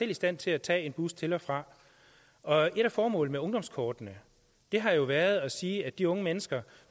i stand til at tage en bus til og fra og et af formålene med ungdomskortet har jo været at sige at de unge mennesker